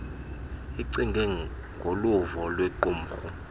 icinge ngoluvo lwequmrhu